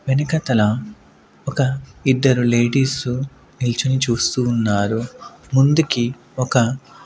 వెనుక తల ఒక ఇద్దరు లేడీస్ నిల్చుని చూస్తూ ఉన్నారు ముందుకి ఒక.